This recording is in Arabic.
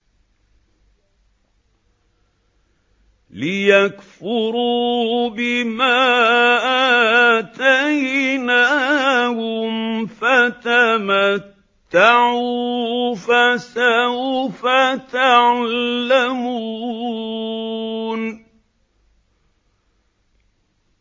لِيَكْفُرُوا بِمَا آتَيْنَاهُمْ ۚ فَتَمَتَّعُوا فَسَوْفَ تَعْلَمُونَ